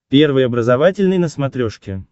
первый образовательный на смотрешке